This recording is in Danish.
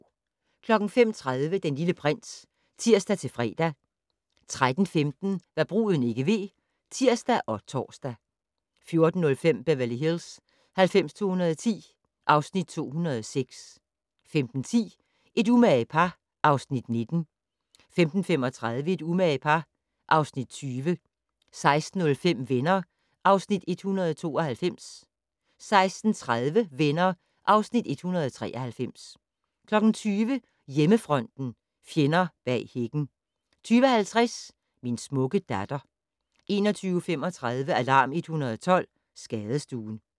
05:30: Den Lille Prins (tir-fre) 13:15: Hva' bruden ikke ved (tir og tor) 14:05: Beverly Hills 90210 (Afs. 206) 15:10: Et umage par (Afs. 19) 15:35: Et umage par (Afs. 20) 16:05: Venner (Afs. 192) 16:30: Venner (Afs. 193) 20:00: Hjemmefronten - fjenden bag hækken 20:50: Min smukke datter 21:35: Alarm 112 - Skadestuen